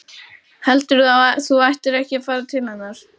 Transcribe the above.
Heldurðu að þú ættir ekki að fara til hennar?